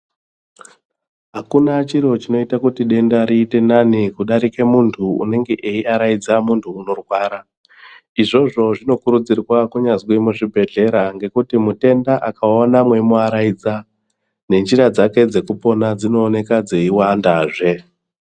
Hakuna chiro chinoita kuti denda riite nani kudarika muntu anenge eiaraidza muntu unorwara izvozvo zvinokurudzirwa nyangwe muzvibhedhlera nekuti mutenda akaona meimuaradza nenjira dzake dzekupona dzinooneka dzeiwanda zve .